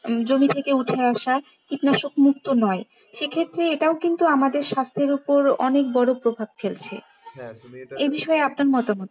জমি থেকে উঠে আসা কীটনাশক মুক্ত নয় সেক্ষেত্রে এটাও কিন্তু স্বাস্থ্যের ওপর অনেক বড় প্রভাব ফেলছে এ বিষয়ে আপনার মতামত কী?